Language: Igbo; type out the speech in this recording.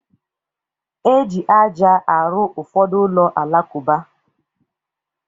E ji aja arụ ụfọdụ ụlọ alakụba.